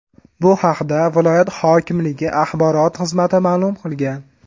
Bu haqda viloyat hokimligi axborot xizmati ma’lum qilgan .